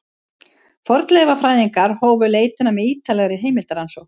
Fornleifafræðingarnir hófu leitina með ýtarlegri heimildarannsókn.